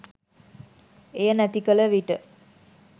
එය නැති කළ විට